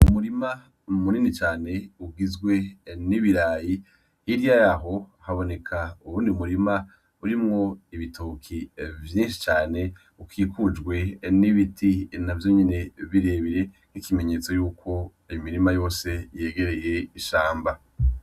Umurima mu munini cane ugizwe n'ibirayi hirya yaho haboneka uwundi murima urimwo ibitoke vyinshi cane ukikujwe n'ibiti na vyo nyene birebire nk'ikimenyetso yuko imirima yose yegereye ishamba.